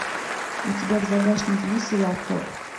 у тебя в загашнике есть сериал хор